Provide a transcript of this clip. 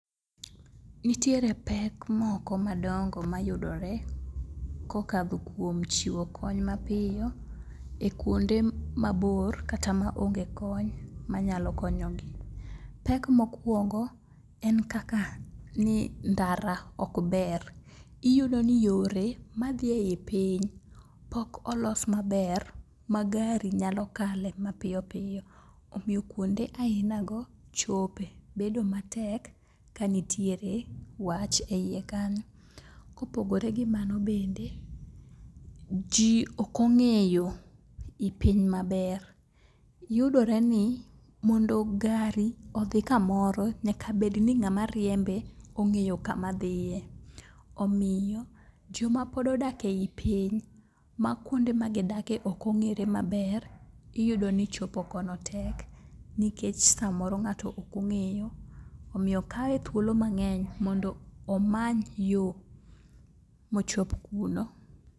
Nitiere pek moko madongo mayudore kokadho kuom chiwo kony mapiyo e kuonde mabor kata maonge kony manyalo konyogi. Pek mokwongo en kaka ni ndara okber, iyudo ni yore madhi e i piny pok olos maber ma gari nyalo kale mapiyopiyo omiyo kuonde ainago chope bedo matek kanitire wach e iye kanyo. Kopogore gi mano bende, ji okong'eyo i piny maber, yudore ni mondo gari odhi kamoro nyakabedni ng'ama riembe ong'eyo kamadhiye omiyo jomapod odak e i piny ma kuonde magidake okong'ere maber iyudo ni chopo kono tek nikech samoro ng'ato okong'eyo omiyo kawe thuolo mang'eny mondo omany yo mochop kuno.